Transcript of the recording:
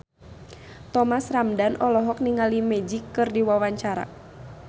Thomas Ramdhan olohok ningali Magic keur diwawancara